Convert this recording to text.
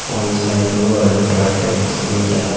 ಒಂದ side UltraTech cement ಅದ.